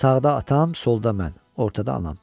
Sağda atam, solda mən, ortada anam.